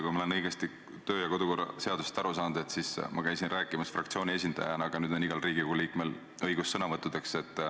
Kui ma olen kodu- ja töökorra seadusest õigesti aru saanud, siis ma käisin ennist rääkimas fraktsiooni esindajana, aga nüüd on igal Riigikogu liikmel õigus sõnavõtuks.